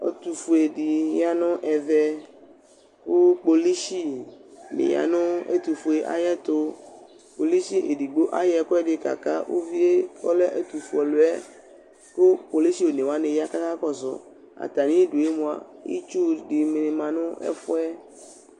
Ɛtʋfue dɩ ya nʋ ɛvɛ, kʋ kpolʋshɩ nɩ ya nʋ ɛtʋfue yɛ ayʋ ɛtʋ Kpolʋshɩ vɩ edigbo ayɔ ɛkʋ ɛdɩ kaka uvi yɛ kʋ ɔlɛ ɛtʋfue ɔlʋ yɛ, kʋ kpolʋshɩ one wa aya kʋ aka kɔsʋ Atamɩ ɩdʋ yɛ mʋa itsu dɩnɩ ma nʋ ɛfʋɛ